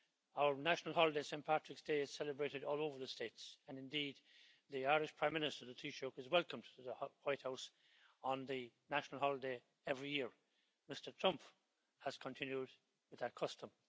Our national holiday, Saint Patrick's day, is celebrated all over the States and indeed the Irish Prime Minister, the Taoiseach, is welcomed to the White House on the national holiday every year. Mr Trump has continued with that custom.